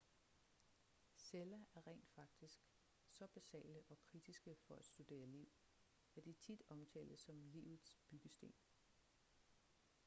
celler er rent faktisk så basale og kritiske for at studere liv at de tit omtales som livets byggesten